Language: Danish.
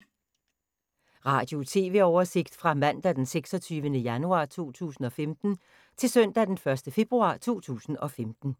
Radio/TV oversigt fra mandag d. 26. januar 2015 til søndag d. 1. februar 2015